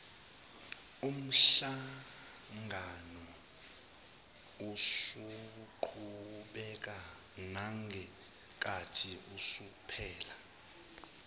umhlanganousaqhubeka nangenkathi usuphela